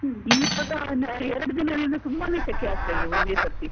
ಇವಾಗ ಎರಡು ದಿನದಿಂದ ತುಂಬಾನೇ ಶೆಕೆ ಆಗ್ತಾ ಇದೆ ಒಂದೇ ಸರ್ತಿ.